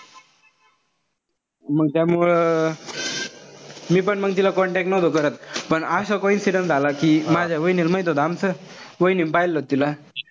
मंग त्यामुळं मी पण मंग तिला contact नव्हतो करत. पण असा coincidence झाला कि माझ्या वहिनील माहित होत आमचं. वाहिनीन पाहिलं होत तिला.